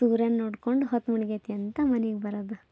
ದೂರ ನೋಡ್ಕೊಂಡು ಹೊತ್ ಮುಳ್ಗೈತಿ ಅಂತ ಮನೆಗ್ ಬರೋದು